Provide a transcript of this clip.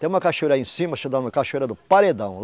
Tem uma cachoeira aí em cima, chamada cachoeira do Paredão.